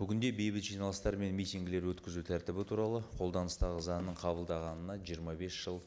бүгінде бейбіт жиналыстар мен митингілер өткізу тәртібі туралы қолданыстағы заңның қабылдағанына жиырма бес жыл